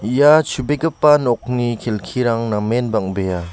ia chubegipa nokni kelkirang namen bang·bea.